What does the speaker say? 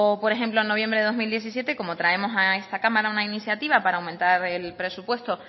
por ejemplo en noviembre de dos mil diecisiete cómo traemos a esta cámara una iniciativa para aumentar el presupuesto